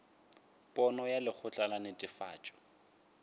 pono ya lekgotla la netefatšo